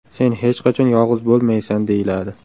Sen hech qachon yolg‘iz bo‘lmaysan”, deyiladi.